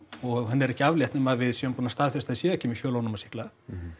og henni er ekki aflétt nema við séum búin að staðfesta séu ekki með fjölónæma sýkla